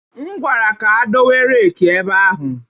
M gwara ka dowe rake ebe ahụ